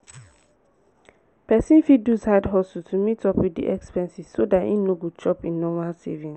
person fit do side hustle to meet up with the expenses so dat im no go chop im normal savings